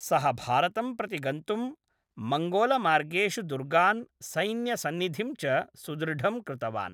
सः भारतं प्रति गन्तुं मङ्गोलमार्गेषु दुर्गान्, सैन्यसन्निधिं च सुदृढं कृतवान्।